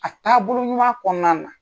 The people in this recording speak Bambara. A taabolo ɲuman kɔɔna na